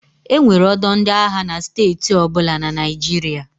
E nwere ọdọ ndị agha na steeti ọbụla na Naịjirịa.